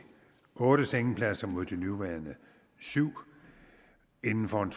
otte sengepladser mod de nuværende syvende inden for en